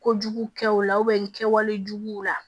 Kojugu kɛw la kɛwale juguw la